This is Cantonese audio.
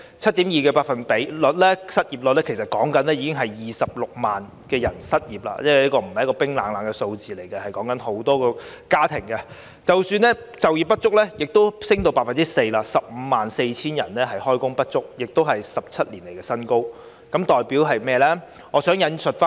失業率 7.2%， 即26萬人失業，這不是冰冷的數字，而是涉及很多家庭；就業不足率也升至 4%， 即 154,000 人就業不足，是17年以來的新高。